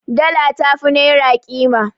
Dala tafi Naira Ƙima